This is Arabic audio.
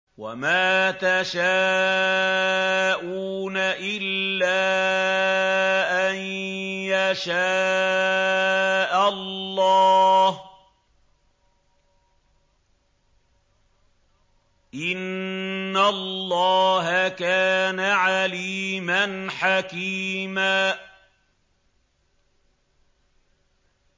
وَمَا تَشَاءُونَ إِلَّا أَن يَشَاءَ اللَّهُ ۚ إِنَّ اللَّهَ كَانَ عَلِيمًا حَكِيمًا